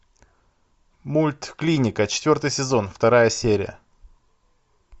мульт клиника четвертый сезон вторая серия